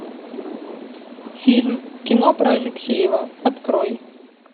фильм кино про алексеева открой